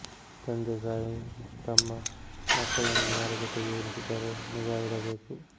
ತಂದೆ ತಾಯಿ ತಮ್ಮ ಮಕ್ಕಳನ್ನು ಯಾರ ಜೊತೆಗೇ ಇರಿಸಿದರೂ ನಿಗಾ ಇಡಬೇಕು